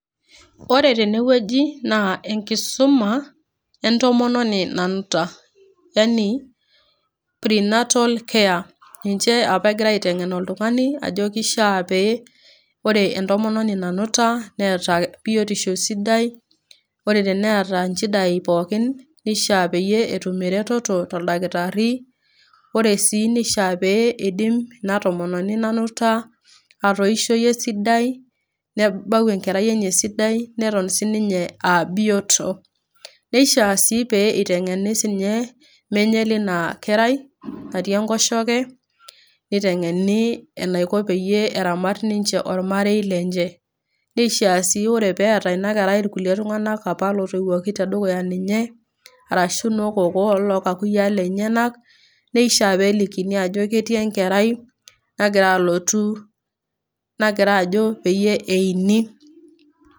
Ore tenewueji naa enkisuma entomoni nanuta yani pre natal care ,ninche apa egirae aitengen oltungani ajo kishaa pe ore intomononi nanuta neeta biotisho sidai . Ore teneeta nchidai pookin nishaa peingoru ereteto toldakitari. Ore sii nishaa pidim ina tomononi nanuta atoishoyu esidai ,nebau enkerai esidai ,neton sininye aa bioto. Neishiaa sii peitengeni sininye menye lina kerai natii enkoshoke, nitengeni enaiko pe eramat omarei lenche . Neishiaa sii paa teneeta ina kerai iltunganak apa lotoiwuoki tedukuya ninye arashu noo kokoo , arashu loo kakuyiaa lenyenak nishaa peelikini ajo ketii enkerai nagira alotu , nagira ajo peini.